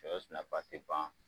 Cɛ si nafa te ban